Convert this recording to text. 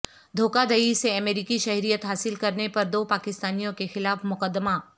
دھوکہ دہی سے امریکی شہریت حاصل کرنے پر دو پاکستانیوں کے خلاف مقدمہ